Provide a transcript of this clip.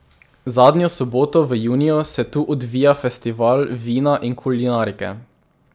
Zadnjo soboto v juniju se tu odvija Festival vina in kulinarike.